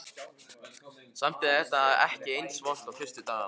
Samt er þetta ekki eins vont og fyrstu dagana.